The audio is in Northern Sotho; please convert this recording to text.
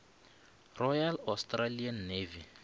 royal australian navy